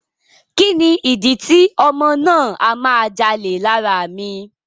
Kíni ìdí tí ọmọ náà a máa jalè lára mi.